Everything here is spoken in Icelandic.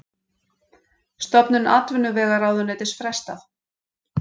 Stofnun atvinnuvegaráðuneytis frestað